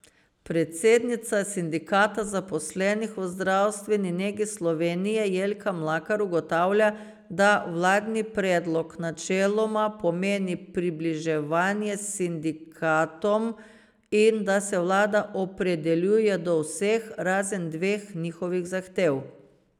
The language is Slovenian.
Predsednica Sindikata zaposlenih v zdravstveni negi Slovenije, Jelka Mlakar, ugotavlja, da vladni predlog načeloma pomeni približevanje sindikatom in da se vlada opredeljuje do vseh, razen dveh njihovih zahtev.